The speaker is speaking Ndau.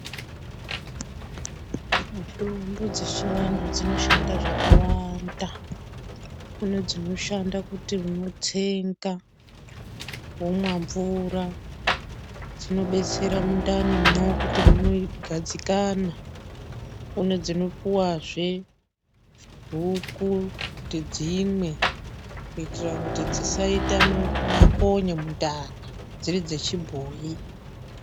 Mitombo dzechivantu dzinoshanda zvakawanda. Kune dzinoshanda kuti unotsenga womwa mvura, zvinobetsera mundanimwo kuti munogadzikana. Kune dzinopiwazve huku kuti dzimwe kuitira kuti dzisaita makonye mundani, dziri dzechibhoyi.